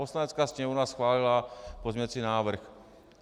Poslanecká sněmovna schválila pozměňovací návrh.